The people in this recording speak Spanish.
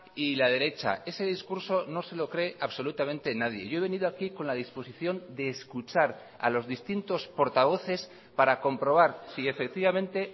y la derecha ese discurso no se lo cree absolutamente nadie yo he venido aquí con la disposición de escuchar a los distintos portavoces para comprobar si efectivamente